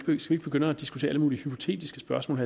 begynde at diskutere alle mulige hypotetiske spørgsmål